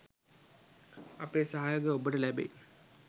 අපේ සහයෝගය ඔබට ලැබෙයි.